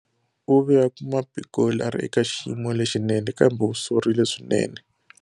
U ve a kuma Pikoli a ri eka xiyimo lexinene, kambe u sorile swinene.